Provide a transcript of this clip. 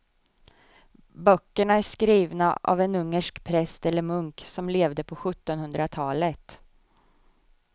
Böckerna är skrivna av en ungersk präst eller munk som levde på sjuttonhundratalet.